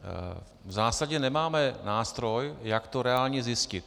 V zásadě nemáme nástroj, jak to reálně zjistit.